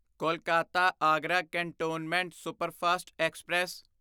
Kolkata Agra cantonment superfast express